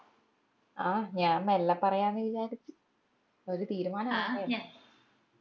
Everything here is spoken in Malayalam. ആഹ് ഞാൻ മെല്ലെ പറയാന്ന് വിചാരിച് ഒരു തീരുമാനം ആവട്ടേന്ന്